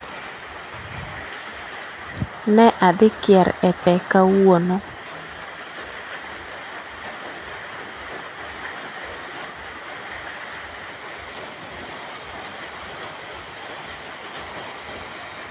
Ne adhi kier e pe kawuono